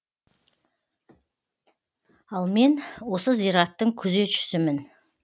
ал мен осы зираттың күзетшісімін